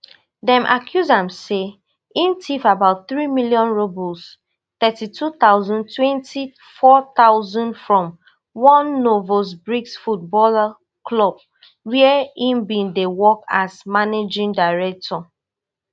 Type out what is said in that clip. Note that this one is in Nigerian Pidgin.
dem accuse am say im tiff about three million rubles thirty-two thousand twenty-four thousand from one novosibirsk footballer club wia e bin dey work as managing director